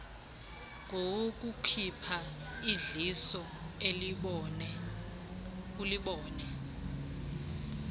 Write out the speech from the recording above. ngowokukhupha idliso ulibone